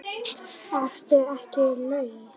Ertu ekki laus?